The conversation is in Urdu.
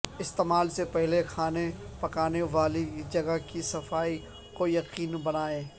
استعمال سے پہلے کھانے پکانے والی جگہ کی صفائی کو یقینی بنائیں